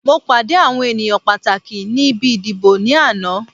Mo pàdé àwọn ènìyàn pàtàkì ni ibi ìdìbò ní àná